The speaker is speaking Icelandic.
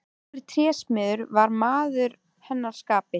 Dóri trésmiður var maður að hennar skapi.